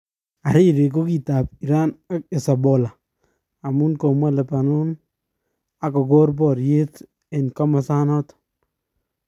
Hariri kokitap Iran ak Hezbollah amun komwa Lebanon ak kokor paryet en komosan nato